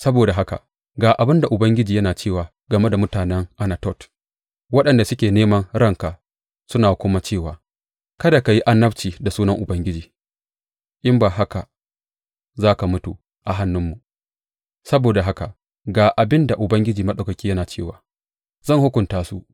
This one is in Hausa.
Saboda haka ga abin da Ubangiji yana cewa game da mutanen Anatot, waɗanda suke neman ranka suna kuma cewa, Kada ka yi annabci da sunan Ubangiji in ba haka za ka mutu a hannunmu’ saboda haka ga abin da Ubangiji Maɗaukaki yana cewa, Zan hukunta su.